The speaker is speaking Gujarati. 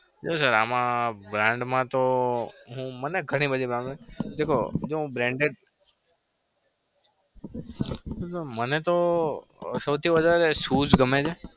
જો sir આમાં barnd માં તો હું મને ઘણી બધી બાબત દેખો હું ગમે છે?